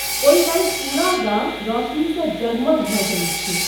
ओहि राति पूरा गाम रोशनीसँ जगमग भऽ जाइत छै।